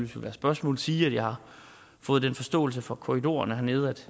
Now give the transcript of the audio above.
være spørgsmål sige at jeg har fået den forståelse fra korridorerne hernede at